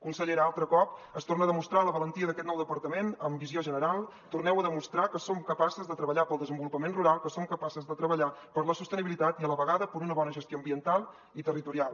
consellera altre cop es torna a demostrar la valentia d’aquest nou departament amb visió general torneu a demostrar que som capaces de treballar pel desenvolupament rural que som capaces de treballar per la sostenibilitat i a la vegada per una bona gestió ambiental i territorial